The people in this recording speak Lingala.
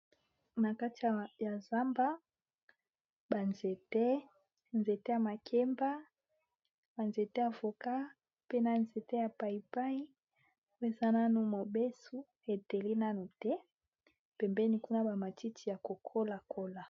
Na kati ya zamba ba nzete nzete ya makemba banzete avoka, pe na nzete ya paibain ezanano mobesu heteli nano te pembeni kuna bamatiti ya kokola kola.